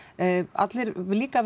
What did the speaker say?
allir verða líka